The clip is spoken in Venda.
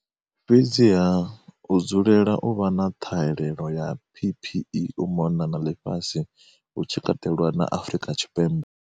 Fhedziha, hu dzulela u vha na ṱhahelelo ya PPE u mona na ḽifhasi, hu tshi katelwa na Afrika Tshipembe.